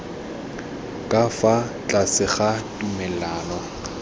ka fa tlase ga tumalano